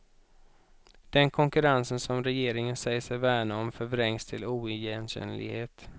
Den konkurrens som regeringen säger sig värna om, förvrängs till oigenkännlighet.